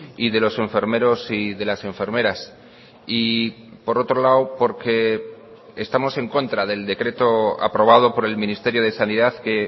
y de los enfermeros y de las enfermeras y por otro lado porque estamos en contra del decreto aprobado por el ministerio de sanidad que